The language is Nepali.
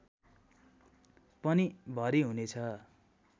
पनि भरि हुनेछ